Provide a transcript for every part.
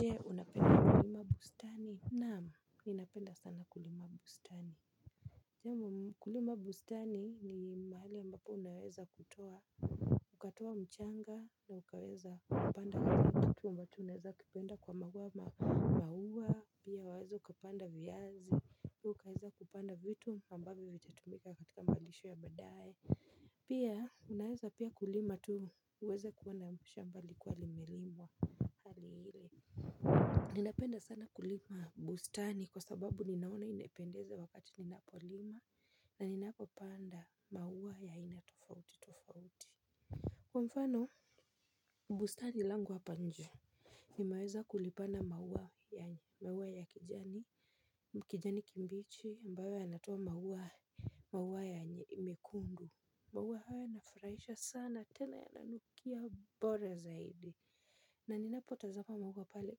Je, unapenda kulima bustani? Naam, ninapenda sana kulima bustani. Kulima bustani ni mahali ambapo unaweza kutoa. Ukatoa mchanga na ukaweza kupanda kitu ambacho unaweza kipenda kwa maua maua, pia waweza ukapanda viyazi, pia ukaweza kupanda vitu ambapo vitatumika katika malisho ya badae, pia unaweza pia kulima tu uweze kuona shamba likiwa limelimwa hali hile. Ninapenda sana kulima bustani kwa sababu ninaona imependeza wakati ninapolima na ninapopanda maua ya aina tofauti tofauti. Kwa mfano bustani langu hapa nje, nimeweza kulipanda maua ya kijani, kijani kimbichi ambayo yanatoa maua ya mekundu. Maua haya yanafuraisha sana tena yananukia bora zaidi. Na ninapotazama maua pale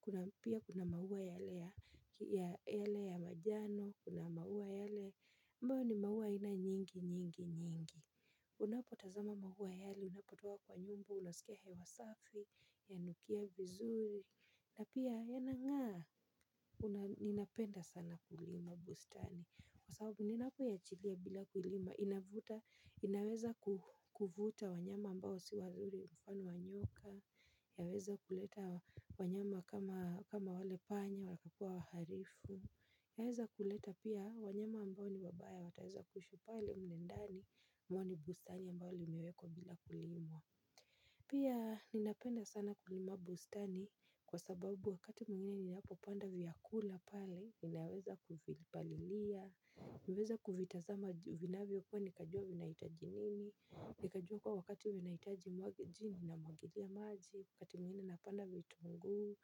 pia kuna maua yale ya majano kuna maua yale ambayo ni maua aina nyingi nyingi nyingi. Unapotazama mahuwa yale unapotoka kwa nyumba unaskia hewa safi yanukia vizuri na pia yanangaa ninapenda sana kulima bustani kwa sababu ninapoiachilia bila kulima, inaweza kuvuta wanyama ambao si wazuri mfano wa nyoka. Yaweza kuleta wanyama kama wale panya, wakakua waharifu. Yaweza kuleta pia wanyama ambao ni wabaya, wataweza kuishi pale mle ndani, mwani bustani ambao limewekwa bila kulimwa. Pia ninapenda sana kulima bustani kwa sababu wakati mwingine ninapopanda vyakula pale, inaweza kuvipalilia huweza kuvitazama vinavyo kuwa nikajua vinaitaji nini. Nikajua kuwa wakati vinaitaji umwage jini namwagilia maji wakati mwingine napanda vitungu.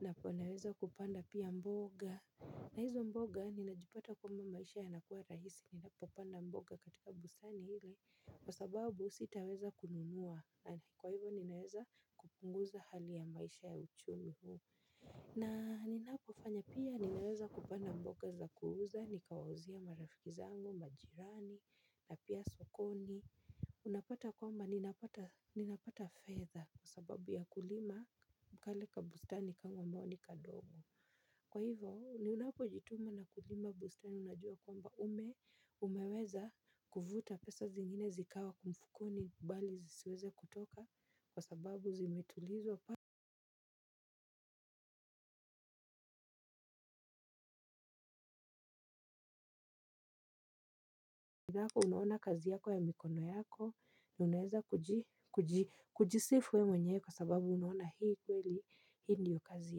Napo naweza kupanda pia mboga. Na hizo mboga ninajipata kwamba maisha yanakuwa rahisi. Ninapopanda mboga katika bustani ile kwa sababu sitaweza kununua. Kwa hivo ninaweza kupunguza hali ya maisha ya uchumi huu. Na ninapo fanya pia ninaweza kupanda mboga za kuuza nikawauzia marafiki zangu majirani na pia sokoni unapata kwamba ninapata fedha kwa sababu ya kulima kale kabustani kangu ambao ni kadogo kwa hivyo ni unapojituma na kulima bustani unajua kwamba ume umeweza kuvuta pesa zingine zikawa kwa mfukoni bali zisiweze kutoka kwa sababu zimetulizwa. Unuona kazi yako ya mikono yako, na unaeza kujisifu we mwenyewe kwa sababu unuona hii kweli, hii ndio kazi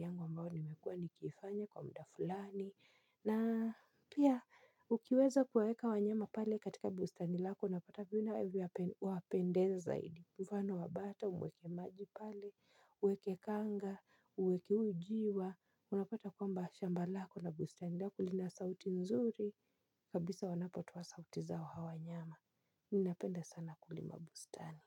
yangu ambao nimekuwa nikifanya kwa mda fulani. Na pia, ukiweza kuwaeka wanyama pale katika bustani lako, napata vina wapendeza zaidi. Mfano wabata, uweke maji pale, uweke kanga, uweke huyu njiwa. Unapata kwamba shamba lako na bustani lako lina sauti nzuri. Kabisa wanapotoa sauti zao hawa wanyama. Ninapenda sana kulima bustani.